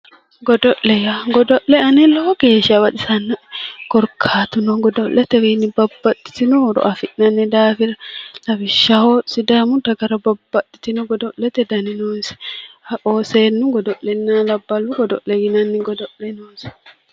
Godo'le yaa godo'le ani lowo geesha baxisannoe korikaatuno godo'letewiinni babbaxitino horo afi'nanni daafira lawishshaho sidaamu dagara babbaxitino godo'le noonisa seennu godo'lena labbalu godo'le yinanni godo'le noonisa